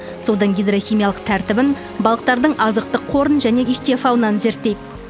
судың гидрохимиялық тәртібін балықтардың азықтық қорын және ихтиофаунаны зерттейді